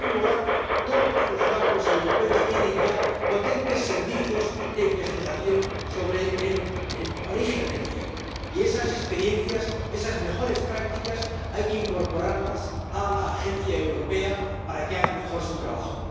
En primer lugar, todos los bancos europeos tienen ya potentes servicios de investigación sobre el origen del dinero, y esas experiencias, esas mejores prácticas, hay que incorporarlas a la agencia europea para que haga mejor su trabajo.